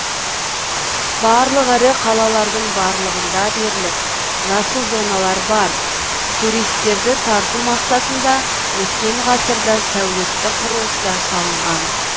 барлық ірі қалалардың барлығында дерлік жасыл зоналар бар туристерді тарту мақсатында өткен ғасырда сәулетті құрылыстар салынған